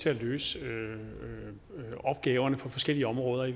til at løse opgaverne på forskellige områder af